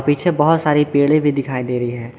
पीछे बहोत सारे पेड़े भी दिखाई दे रही है।